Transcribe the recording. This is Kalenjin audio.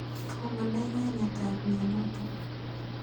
Tom anai kainet ap mianotok.